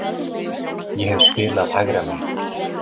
Ég hef spilað hægra megin.